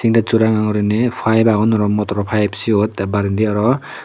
texo ranga guriney five agon aro motoro five seyot tey barendi aro.